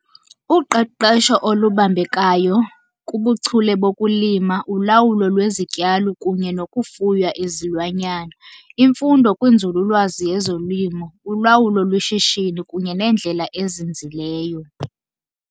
Uqeqesho olubambekayo kubuchule bokulima, ulawulo lwezityalo kunye nokufuya izilwanyana, imfundo kwinzululwazi yezolimo, ulawulo lweshishini kunye nendlela ezinzileyo.